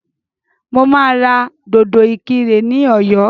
Mo máa ra dòdò ìkirè ní ọ̀yọ́